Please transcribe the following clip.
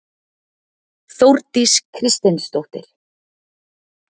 Þórdís Kristinsdóttir.